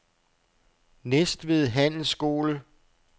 Næstved Handelsskole